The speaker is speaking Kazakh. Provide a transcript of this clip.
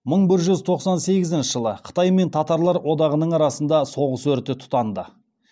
мың бір жүз тоқсан сегізінші жылы қытай мен татарлар одағының арасында соғыс өрті тұтанады